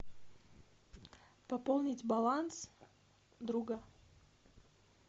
пополнить баланс друга